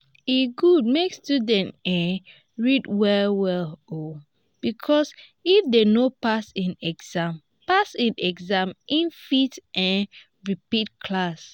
e good make student um read well well because if dem no pass in exams pass in exams in fit um repeat class